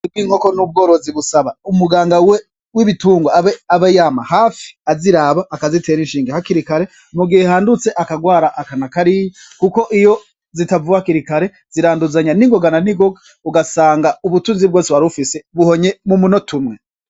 Umwuga w'inkoki n'ubworozi busaba umuganga w'ibitungwa abe yama hafi aziraba, akazitera inshinga hakirikare mugihe handutse akarwara aka na kariya, kuko iyo zitavuwe hakirikare ziranduzanya ningoga na ningoga ugasanga ubutunzi bwose warufise buhonye mumunota umwe.